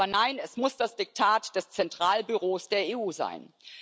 Aber nein, es muss das Diktat des Zentralbüros der EU sein.